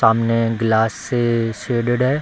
सामने ग्लास से शेडेड है।